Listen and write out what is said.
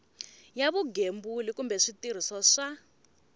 ya vugembuli kumbe switirhiso swa